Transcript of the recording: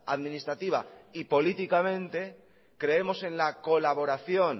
administrativa y políticamente creemos en la colaboración